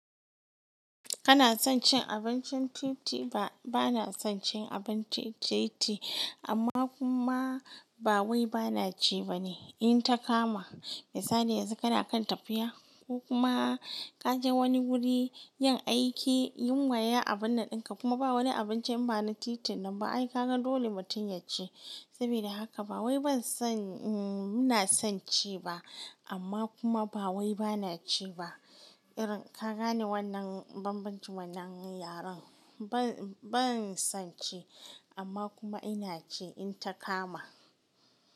Kana son cin abincin titi? Ba na son cin abinci titi, amma kuma ba wai bana ci ba ne in ta kama. Misali yanzu kana kan tafiya ko kuma ka je wani guri yin aiki, yunwa ya a bannan ɗanka kuma ba wani abinci bana titin nan ba ai ka gan dole mutum ya ci. Saboda haka ba wai ban son muna son ci ba amma kuma ba wai bana ci ba. Irin ka gane wannan bambancin wannan yaren? Ban son ci amma kuma ina ci in ta kama.